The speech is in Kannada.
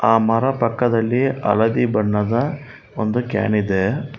ಆ ಮರ ಪಕ್ಕದಲ್ಲಿ ಹಳದಿ ಬಣ್ಣದ ಒಂದು ಕ್ಯಾನ್ ಇದೆ.